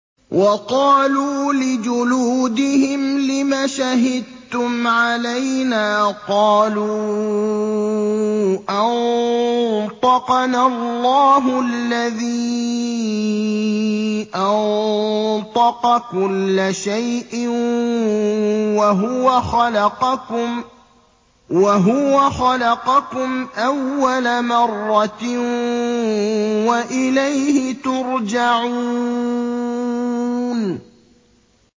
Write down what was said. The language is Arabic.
وَقَالُوا لِجُلُودِهِمْ لِمَ شَهِدتُّمْ عَلَيْنَا ۖ قَالُوا أَنطَقَنَا اللَّهُ الَّذِي أَنطَقَ كُلَّ شَيْءٍ وَهُوَ خَلَقَكُمْ أَوَّلَ مَرَّةٍ وَإِلَيْهِ تُرْجَعُونَ